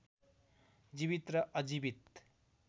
जीवित र अजीवित